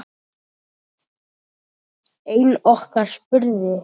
Einn okkar spurði